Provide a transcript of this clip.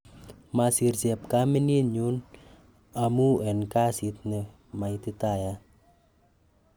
mosiir chepkaminyun amun en kasaisanet ne maititayat